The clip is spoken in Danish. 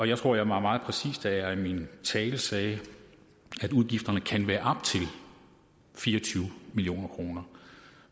jeg tror jeg var meget præcis da jeg i min tale sagde at udgifterne kan være op til fire og tyve million kroner